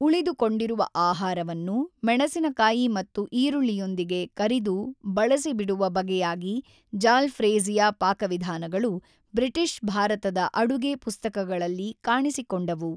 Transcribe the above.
ಉಳಿದುಕೊಂಡಿರುವ ಆಹಾರವನ್ನು ಮೆಣಸಿನಕಾಯಿ ಮತ್ತು ಈರುಳ್ಳಿಯೊಂದಿಗೆ ಕರಿದು ಬಳಸಿಬಿಡುವ ಬಗೆಯಾಗಿ ಜಾಲ್ ಫ಼್ರೇಜ಼ಿಯ ಪಾಕವಿಧಾನಗಳು ಬ್ರಿಟಿಷ್ ಭಾರತದ ಅಡುಗೆ ಪುಸ್ತಕಗಳಲ್ಲಿ ಕಾಣಿಸಿಕೊಂಡವು.